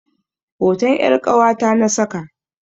Hoton 'yar ƙawata na saka.